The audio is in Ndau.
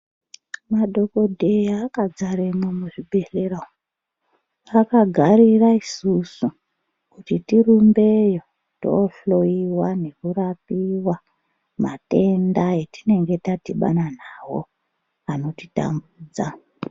Madhokodheya akadzaremwo muzvibhehleya umwu akagarira isusu kuti tirumbeyo tohloiwa nekurapiwa matenda atinenge tadhibana nawo anotitambudza.